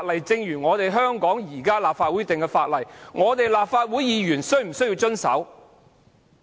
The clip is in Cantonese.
正如香港的立法會所制定的法例，立法會議員是否也須遵守？